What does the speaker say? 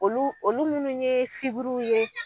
Olu olu munnu ye fiburu ye